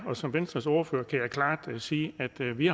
og som venstres ordfører kan jeg klart sige at vi